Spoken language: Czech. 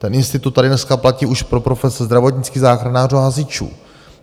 Ten institut tady dneska platí už pro profese zdravotnických záchranářů a hasičů.